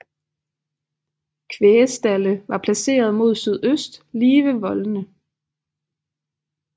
Kvægstalde var placerede mod sydøst lige ved voldene